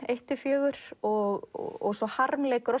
eitt til fjögur og svo harmleikur á